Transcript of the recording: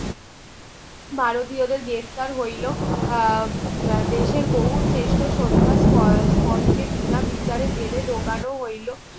ভারতীয় দেড় গ্রেপ্তার হইলো আহ দেশের বহু সৃষ্ট শদ্ধা স্পোর্ট কে বিনা বিচারে জেলে ঢুকানো হইলো